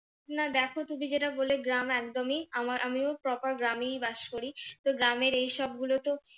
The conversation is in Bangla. না দেখো তুমি যেটা বললে গ্রাম একদমই আমার আমিও proper গ্রামেই বাস করি তো গ্রামের এইসব গুলো তো,